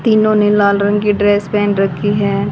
तीनों ने लाल रंग की ड्रेस पहन रखी हैं।